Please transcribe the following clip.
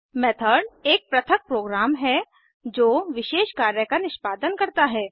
method एक पृथक program है जो विशेष कार्य का निष्पादन करता है